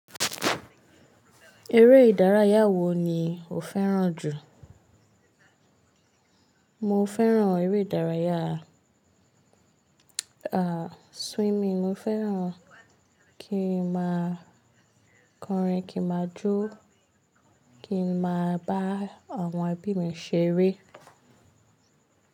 Eré ìdárayá wo ni o fẹràn jù? Mo fẹràn eré ìdárayá, ah, swimming. Mo fẹràn kí ma kọrin, kí ma jó, kí ma bá àwọn ẹbí mi ṣeré.